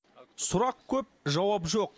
сұрақ көп жауап жоқ